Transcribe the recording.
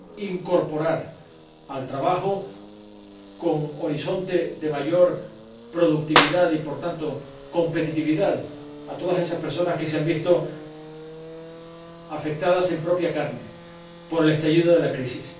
reincorporar al trabajo, con horizonte de mayor productividad y, por tanto, competitividad, a todas esas personas que se han visto afectadas en propia carne por el estallido de la crisis.